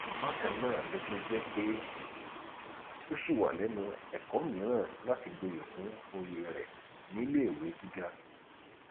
bákan náà ló tún jẹ pé ó ṣì wà lẹnu ẹkọ mìíràn láti gboyè kún òye rẹ níléèwé gíga